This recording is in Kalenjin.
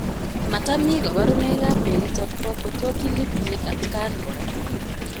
Matamii kabarunoik ap mionitok poo Potocki Lipki atkaan koraa